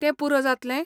तें पुरो जातलें?